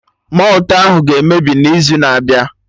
Malt ahụ ga-emebi n'izu na-abịa